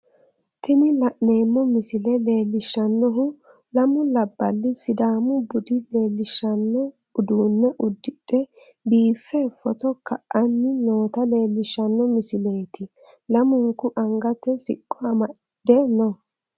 Tini la'neemmo misile leellishshannohu lamu labballi sidaamu bude leellishshanno uduunne uddidhe biiffe footo ka'anni noota leellishshanno misileeti, lamunku angate siqqo amadde no.